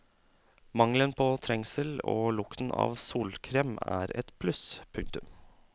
Mangelen på trengsel og lukten av solkrem er et pluss. punktum